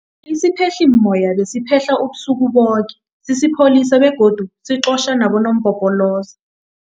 Isiphehlimmoya besiphehla ubusuku boke sisipholisa begodu siqotjha nabonompopoloza.